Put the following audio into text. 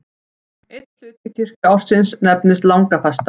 Einn hluti kirkjuársins nefnist langafasta.